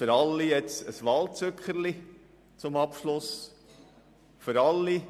Jetzt soll es zum Abschluss noch rasch für alle ein